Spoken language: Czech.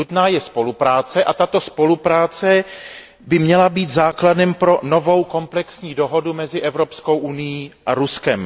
Nutná je spolupráce, a tato spolupráce by měla být základem pro novou komplexní dohodu mezi Evropskou unií a Ruskem.